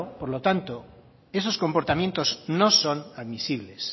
por lo tanto esos comportamientos no son admisibles